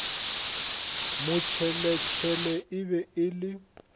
motšheletšhele e be e le